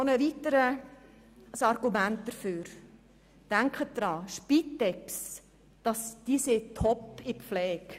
Noch ein weiteres Argument dafür: Denken Sie daran, die Spitex ist top in der Pflege.